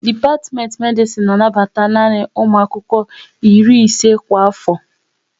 Dipatimenti Medisin na anabata nanị ụmụ akwụkwọ iri ise kwa afo